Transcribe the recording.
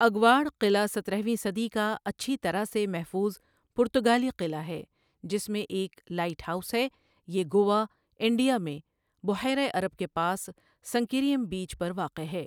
اگواڑا قلعہ سترہویں صدی کا اچھی طرٖح سے محفوظ پرتگالی قلعہ ہے، جس میں ایک لائٹ ہاؤس ہے، یہ گوا، انڈیا میں، بحیر عرب کے پاس سنکیریم بیچ پر واقع ہے۔